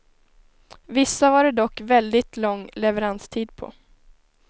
Vissa var det dock väldigt lång leveranstid på.